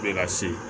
Be ka se